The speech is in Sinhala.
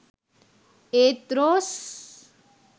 ඒත් රෝස්